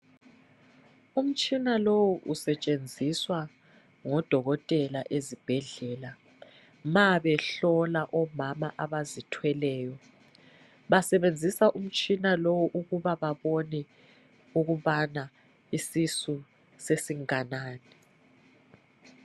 Umtshina liwu usetshenziswa ngodokotela ezibhedlela, ma behlola omama abazithweleyo. Basebenzisa umtshina lowu ukuba babone ukubana bahlole ukuthi isisu isesinganani.